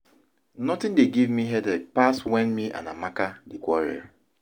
Nothing dey give me headache pass when me and Amaka dey quarrel